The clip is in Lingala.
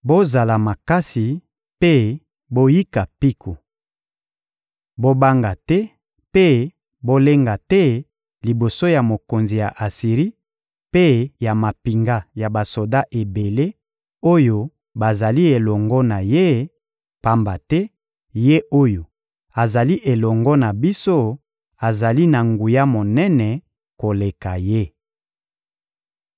— Bozala makasi mpe boyika mpiko! Bobanga te mpe bolenga te liboso ya mokonzi ya Asiri mpe ya mampinga ya basoda ebele oyo bazali elongo na ye, pamba te Ye oyo azali elongo na biso azali na nguya monene koleka ye.